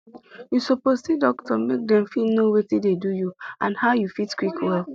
you suppose see doctor make dem fit know watin dey do you and how you fit quick well